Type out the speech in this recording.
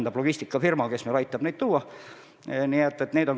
See logistikafirma aitab meil kauba kohale tuua.